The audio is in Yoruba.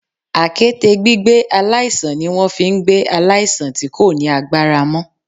Àkéte gbígbé aláìsàn ni wọ́n fi n gbé aláìsàn tí kò ní agbára mó